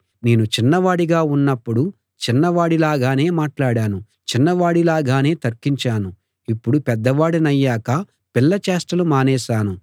నేను చిన్నవాడిగా ఉన్నప్పుడు చిన్నవాడిలాగానే మాట్లాడాను చిన్నవాడిలాగానే తర్కించాను ఇప్పుడు పెద్దవాడినయ్యాక పిల్లచేష్టలు మానేశాను